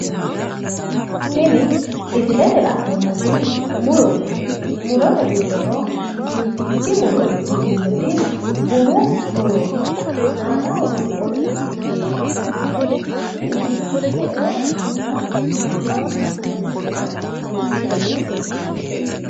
Tini misilete la'neemmoti murote murote giddono mittikki muro ikkitinotinoti bunu murooti aanaho misilete garinni la'neemmoha ikkiro le'ino bunanna duucha guma amadino buna leellishannonke misileeti